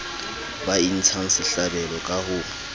ba intshang sehlabelo ka ho